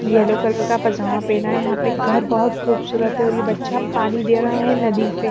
yellow colour का पजामा पहना है यहाँ पे घर बहुत खूबसूरत है और ये बच्चा पानी दे रहा है नदी से--